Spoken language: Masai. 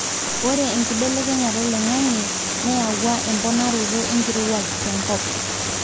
ore enkibelekenyata oloingange neyawua emponaroto enkirowuaj tenkop